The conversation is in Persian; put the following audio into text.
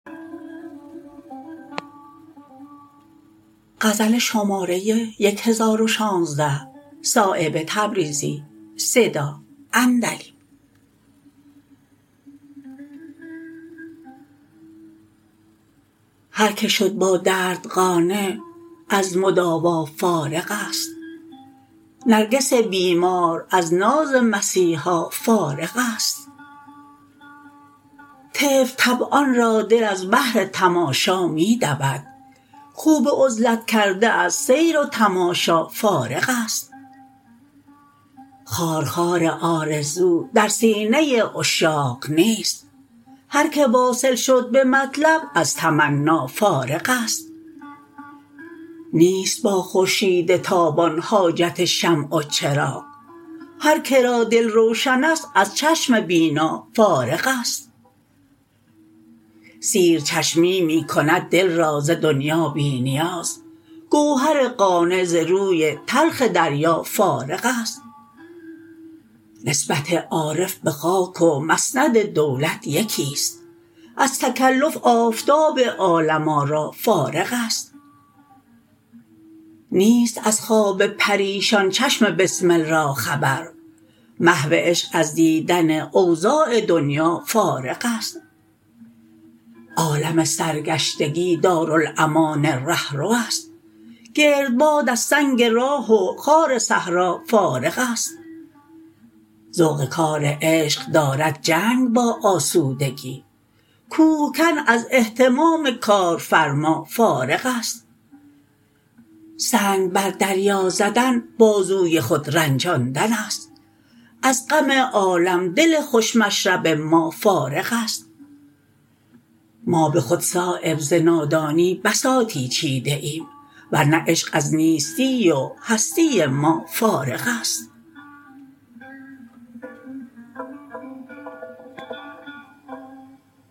هر که شد با درد قانع از مداوا فارغ است نرگس بیمار از ناز مسیحا فارغ است طفل طبعان را دل از بهر تماشا می دود خو به عزلت کرده از سیر و تماشا فارغ است خارخار آرزو در سینه عشاق نیست هر که واصل شد به مطلب از تمنا فارغ است نیست با خورشید تابان حاجت شمع و چراغ هر که را دل روشن است از چشم بینا فارغ است سیرچشمی می کند دل را ز دنیا بی نیاز گوهر قانع ز روی تلخ دریا فارغ است نسبت عارف به خاک و مسند دولت یکی است از تکلف آفتاب عالم آرا فارغ است نیست از خواب پریشان چشم بسمل را خبر محو عشق از دیدن اوضاع دنیا فارغ است عالم سرگشتگی دارالامان رهروست گردباد از سنگ راه و خار صحرا فارغ است ذوق کار عشق دارد جنگ با آسودگی کوهکن از اهتمام کارفرما فارغ است سنگ بر دریا زدن بازوی خود رنجاندن است از غم عالم دل خوش مشرب ما فارغ است ما به خود صایب ز نادانی بساطی چیده ایم ورنه عشق از نیستی و هستی ما فارغ است